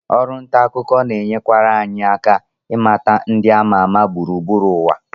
Ọrụ nta akụkọ na-enyekwara anyị aka ịmata ndị ama ama gburugburu ụwa